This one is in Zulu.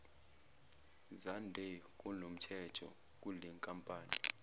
zande kunomthetho kulenkampani